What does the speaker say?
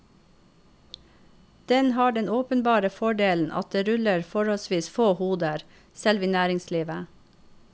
Den har den åpenbare fordelen at det ruller forholdsvis få hoder, selv i næringslivet.